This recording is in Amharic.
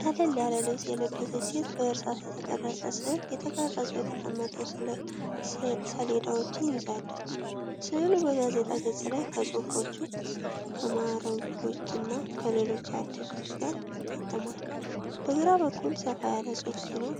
ቀለል ያለ ልብስ የለበሰች ሴት በእርሳስ የተቀረጸ ስዕል፣ ተቀርጸው የተቀመጡ ሰሌዳዎችን ይዛለች። ስዕሉ በጋዜጣ ገጽ ላይ ከጽሑፎች፣ ከማዕረጎችና ከሌሎች አርዕስቶች ጋር ታትሟል። በግራ በኩል ሰፋ ያለ ጽሑፍ ሲኖር፣